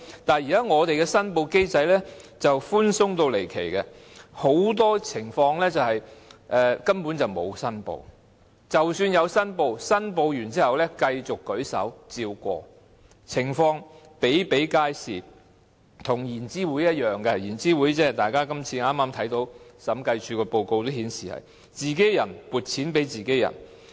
但是，現行的申報機制異常寬鬆，很多情況根本沒有申報，即使有申報，申報過後繼續舉手通過撥款，這些情況比比皆是，跟研究資助局一樣——大家從最近的審計署報告書看到，研究資助局同樣是自己人撥款給自己人。